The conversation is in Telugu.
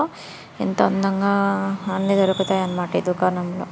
ఇంత అందంగా అన్నీ దొరుకుతాయి అన్న మాట ఈ దుకాణంలో.